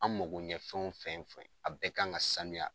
An makoɲɛfɛnw fɛn fɛn , a bɛɛ kan ka saniya.